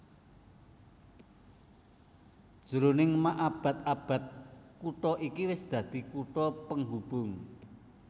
Jroning maabad abad kutha iki wis dadi kutha penghubung